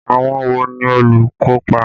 Àwọn wo ni olùkópa?